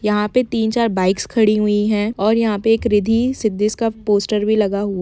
यहाँ पे तीन -चार बाइक्स खड़ी हुई है और यहाँ पर एक रिद्धि - सिद्धि का पोस्टर भी लगा हु--